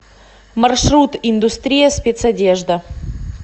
маршрут индустрия спецодежда